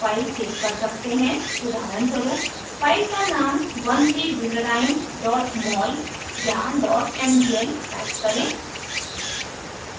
उदाहरणस्वरूप फाइल का नाम 13butadiene mol या mdl type करें